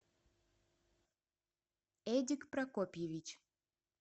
эдик прокопьевич